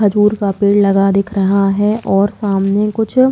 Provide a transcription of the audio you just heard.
खजूर का पेड़ लगा दिख रहा हैं और सामने कुछ--